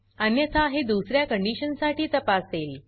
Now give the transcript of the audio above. अन्यथा हे दुसऱ्या कंडीशन साठी तापासेल